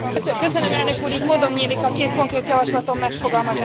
Így módom nyílik a két konkrét javaslatom megfogalmazására is.